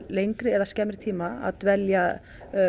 lengri eða skemmri tíma að dvelja